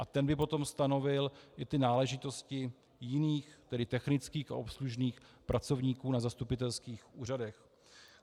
A ten by potom stanovil i ty náležitosti jiných, tedy technických a obslužných pracovníků na zastupitelských úřadech.